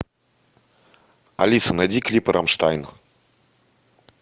алиса найди клипы рамштайн